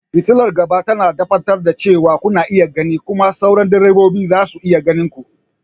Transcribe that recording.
Fitalar gaba tana tabbatar da cewa kuna iya gani kuma sauran direbobi za su iya ganin ku.